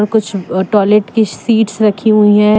कुछ टॉयलेट की कुछ सीट्स रखी हुई हैं।